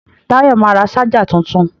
Táyọ̀ ma ra ṣájà tuntun